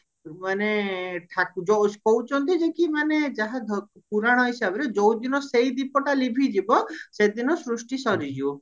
ମାନେ ଠା ଯୋଉ ଯେ କି ମାନେ ଯାହା ପୁରାଣ ହିସାବରେ ଯୋଉ ଦିନ ସେଇ ଦୀପଟା ଲିଭିଯିବ ସେଦିନ ସୃଷ୍ଟି ସରିଯିବ